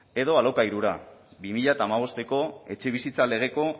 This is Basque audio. edo alokairura bi mila hamabosteko etxebizitza legeko